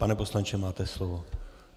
Pane poslanče, máte slovo.